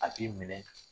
A b'i minɛ